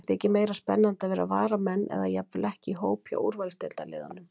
Þeim þykir meira spennandi að vera varamenn eða jafnvel ekki í hóp hjá úrvalsdeildarliðunum.